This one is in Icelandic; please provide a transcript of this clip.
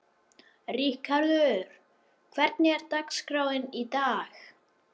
Ríkharður, hvernig er dagskráin í dag?